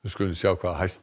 skulum við sjá hvað